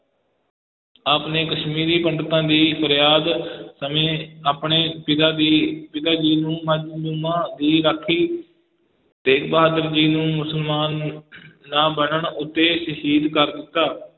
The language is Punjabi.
ਆਪ ਨੇ ਕਸ਼ਮੀਰੀ ਪੰਡਤਾਂ ਦੀ ਫਰਿਆਦ ਸਮੇਂ ਆਪਣੇ ਪਿਤਾ ਦੀ, ਪਿਤਾ ਜੀ ਨੂੰ ਮਜ਼ਲੂਮਾਂ ਦੀ ਰਾਖੀ, ਤੇਗ ਬਹਾਦਰ ਜੀ ਨੂੰ ਮੁਸਲਮਾਨ ਨਾ ਬਣਨ ਉੱਤੇ ਸ਼ਹੀਦ ਕਰ ਦਿੱਤਾ।